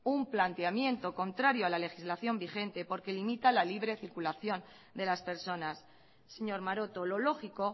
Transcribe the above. un planteamiento contrario a la legislación vigente porque limita a la libre circulación de las personas señor maroto lo lógico